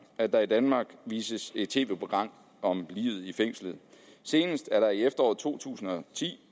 at der i danmark vises et tv program om livet i fængslet senest blev der i efteråret to tusind og ti